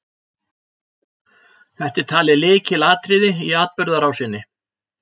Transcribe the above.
Þetta er talið lykilatriði í atburðarásinni.